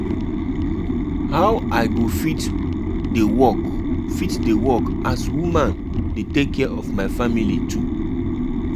Pipo dey fear juju, but dem still wan sabi how e dey how e dey work.